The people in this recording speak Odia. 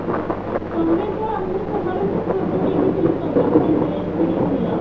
ତମେ ତ ମୁଁ ତୁମର ଗୋଟେ photo ଦେଖିଥିଲି ତମେ ଗୋଟେ dress କିଣିଥିଲ